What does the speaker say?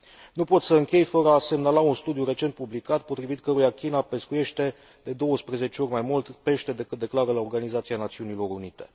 Nu pot să închei fără a semnala un studiu recent publicat, potrivit căruia China pescuiește de 12 ori mai mult pește decât declară la Organizația Națiunilor Unite.